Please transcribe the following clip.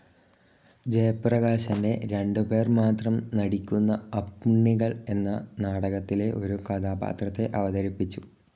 ജയപ്രകാശിന്റെ രണ്ടു പേർ മാത്രം നടിക്കുന്ന അപ്പുണ്ണികൾ എന്ന നാടകത്തിലെ ഒരു കഥാപാത്രത്തെ അവതരിപ്പിച്ചു.